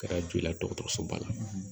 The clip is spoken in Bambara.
Kɛra jɔ i la dɔgɔtɔrɔsoba la